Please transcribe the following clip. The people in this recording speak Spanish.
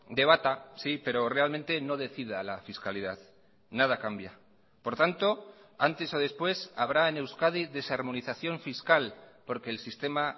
debata sí pero realmente no decida la fiscalidad nada cambia por tanto antes o después habrá en euskadi desarmonización fiscal porque el sistema